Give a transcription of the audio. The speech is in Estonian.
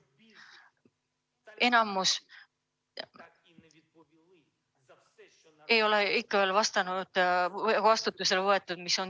Enamikku sõjakurjategijaid ei ole ikka veel toime pandud tegude eest vastutusele võetud.